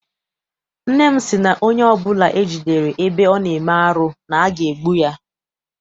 Nne m sị na onye ọbụla e jidere ebe ọ na-eme arụ na aga egbu ya.